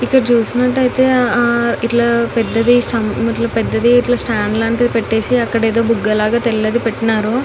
ఇక్కడ చూసినట్లుఅయితే ఆ పెద్దది స్టాండ్ లాగా పెట్టి అక్కడ ఏదో బుగ్గ లాగా తెల్లది పెట్టినారు .